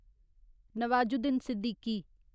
Nawazuddin Siddiqui